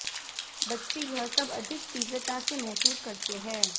बच्चे यह सब अधिक तीव्रता से महसूस करते हैं